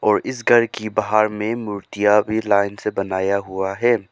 और इस घर के बाहर में मूर्तियां भी लाइन से बनाया हुआ है।